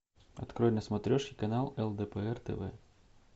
открой на смотрешке канал лдпр тв